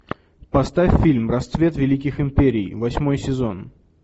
поставь фильм расцвет великих империй восьмой сезон